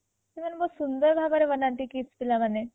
ସେମାନେ ବହୁତ ହୁନ୍ଦର ଭାବରେ ବନାନ୍ତି KIIT ପିଲାମାନେ